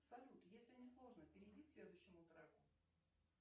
салют если не сложно перейди к следующему треку